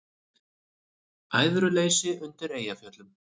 Æðruleysi undir Eyjafjöllum